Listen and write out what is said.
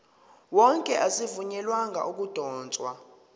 wonke azivunyelwanga ukudotshwa